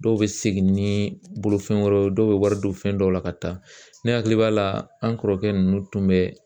Dɔw bɛ segin ni bolofɛn wɛrɛw ye dɔw bɛ wari don fɛn dɔw la ka taa ne hakili b'a la an kɔrɔkɛ ninnu tun bɛ